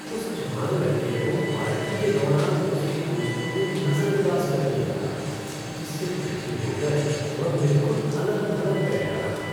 उस जवान लड़के को पार्टी के दौरान उसके दोस्तों ने नज़रअंदाज़ कर दिया था जिससे दुखी होकर वह बिलकुल अलग-थलग बैठा रहा।